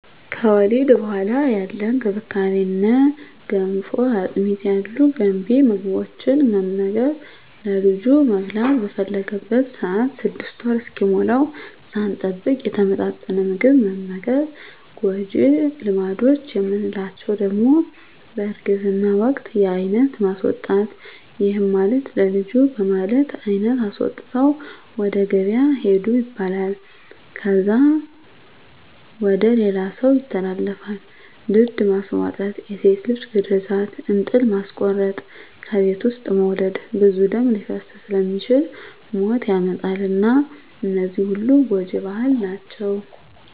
ከወሊድ በኋላ ያለ እንክብካቤ እነ ገንፎ፣ አጥሚት ያሉ ገንቢ ምግቦትን መመገብ፣ ለልጁ መብላት በፈለገበት ሰአት 6 ወር እስኪሞላዉ ሳንጠብቅ የተመጣጠነ ምግብ መመገብ። ጎጂ ልማዶች የምንላቸዉ ደሞ በእርግዝና ወቅት የአይነት ማስወጣት ይህም ማለት ለልጁ በማለት አይነት አስወጥተዉ ወደ ገበያ ሂዱ ይባላል። ከዛ ወደ ሌላ ሰዉ ይተላለፋል፣ ድድ ማስቧጠጥ፣ የሴት ልጅ ግርዛት፣ እንጥል ማስቆረጥ፣ ከቤት ዉስጥ መዉለድ ብዙ ደም ሊፈስ ስለሚችል ሞት ያመጣል እና እነዚህ ሁሉ ጎጂ ባህል ናቸዉ።